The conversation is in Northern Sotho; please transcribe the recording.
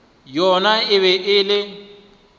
yona e be e le